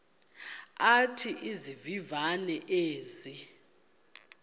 athi izivivane ezi